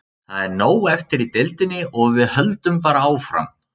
Það er nóg eftir í deildinni og við höldum bara áfram.